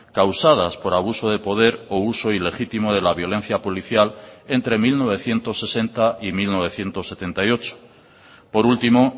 causadas por abuso de poder o uso ilegítimo de la violencia policial entre mil novecientos sesenta y mil novecientos setenta y ocho por último